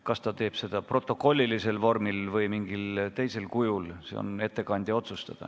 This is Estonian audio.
Kas ta teeb seda protokollilises vormis või mingil teisel kujul, on ettekandja otsustada.